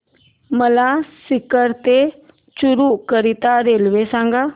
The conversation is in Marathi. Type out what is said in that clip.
मला सीकर ते चुरु करीता रेल्वे सांगा